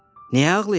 Niyə ağlayırsan?